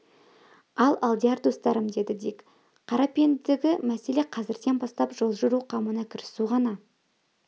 ал алдияр достарым деді дик қарапендігі мәселе қазірден бастап жол жүру қамына кірісу ғана